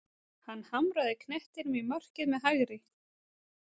Hann hamraði knettinum í markið með hægri.